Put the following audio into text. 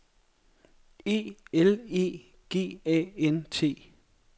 E L E G A N T